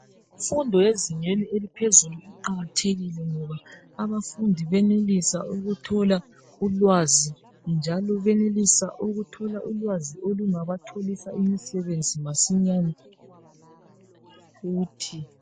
Imfundo yezingeni eliphezulu iqakathekile ngoba abafundi benelisa ukuthola ulwazi njalo benelisa ukuthola ulwazi olungabatholisa imisebenzi masinyane futhi.